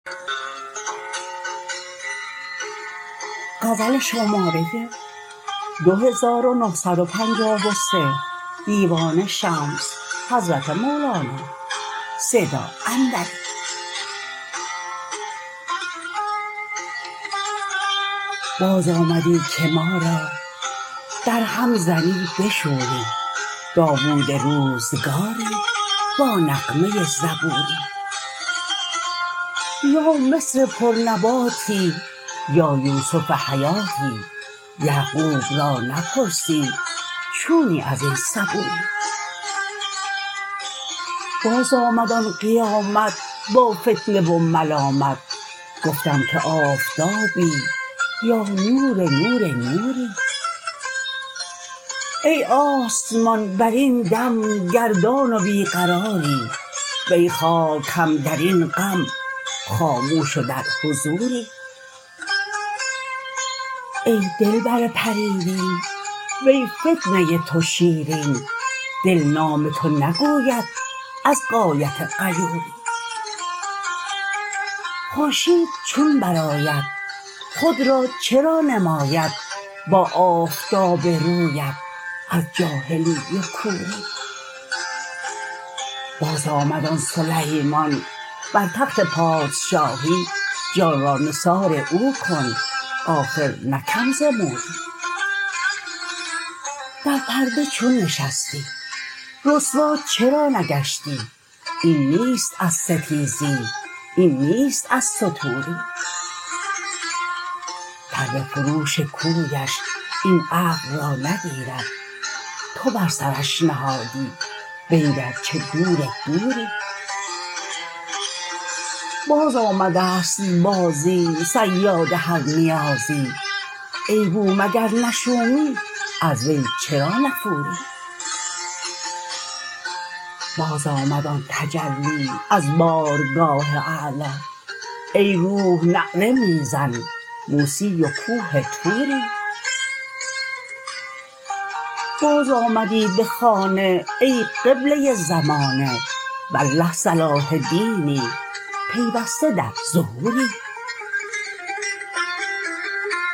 بازآمدی که ما را درهم زنی به شوری داوود روزگاری با نغمه زبوری یا مصر پرنباتی یا یوسف حیاتی یعقوب را نپرسی چونی از این صبوری بازآمد آن قیامت با فتنه و ملامت گفتم که آفتابی یا نور نور نوری ای آسمان برین دم گردان و بی قراری وی خاک هم در این غم خاموش و در حضوری ای دلبر پریرین وی فتنه تو شیرین دل نام تو نگوید از غایت غیوری خورشید چون برآید خود را چرا نماید با آفتاب رویت از جاهلی و کوری بازآمد آن سلیمان بر تخت پادشاهی جان را نثار او کن آخر نه کم ز موری در پرده چون نشستی رسوا چرا نگشتی این نیست از ستیری این نیست از ستوری تره فروش کویش این عقل را نگیرد تو بر سرش نهادی بنگر چه دور دوری بازآمده ست بازی صیاد هر نیازی ای بوم اگر نه شومی از وی چرا نفوری بازآمد آن تجلی از بارگاه اعلا ای روح نعره می زن موسی و کوه طوری بازآمدی به خانه ای قبله زمانه والله صلاح دینی پیوسته در ظهوری